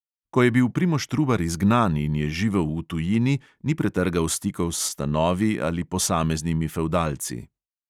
Ko je bil primož trubar izgnan in je živel v tujini, ni pretrgal stikov s stanovi ali posameznimi fevdalci.